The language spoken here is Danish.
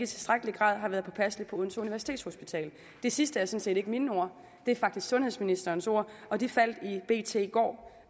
tilstrækkelig grad har været påpasselig på odense universitetshospital de sidste er sådan set ikke mine ord de er faktisk sundhedsministerens ord og de faldt i bt i går